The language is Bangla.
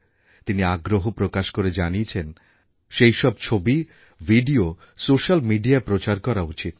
তিনি আগ্রহ প্রকাশ করে জানিয়েছেন সেই সব ছবি ভিডিও সোস্যাল মিডিয়ায় প্রচার করা উচিৎ